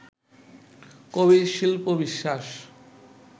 কবির শিল্প-বিশ্বাস